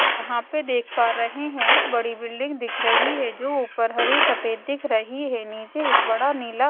यहां पे देख पा रहे है एक बड़ी बिल्डिंग दिख रही है जो ऊपर हरे सफेद दिख रही है नीचे एक बड़ा नीला --